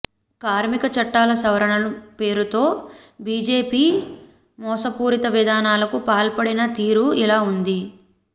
కార్మిక చట్టాల సవరణ పేరుతో బిజెపి మోసపూరిత విధానాలకు పాల్పడిన తీరు ఇలా ఉంది